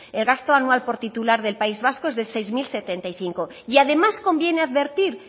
el gasto anual por titular del país vasco es de seis mil setenta y cinco y además conviene advertir